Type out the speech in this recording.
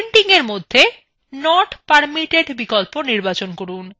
printing এর মধ্যে not permitted বিকল্প নির্বাচন করুন